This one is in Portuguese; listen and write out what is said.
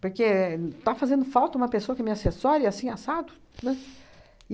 Porque está fazendo falta uma pessoa que me assessore, assim, assado, né?